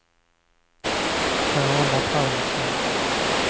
Carola Paulsson